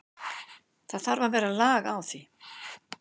Það þarf að vera lag á því.